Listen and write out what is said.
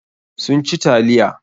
Sun ci taliya.